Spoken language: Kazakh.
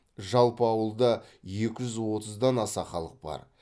жалпы ауылда екі жүз отыздан аса халық бар